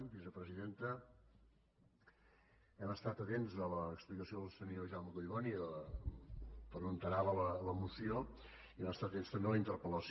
vicepresidenta hem estat atents a l’explicació del senyor jaume collboni per on anava la moció i vam estar atents també a la interpel·lació